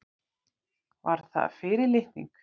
Var það fyrirlitning?